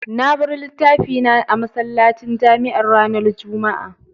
Na bar littafi na a masallacin jami'ar ranar Juma'a.